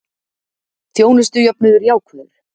Þjónustujöfnuður jákvæður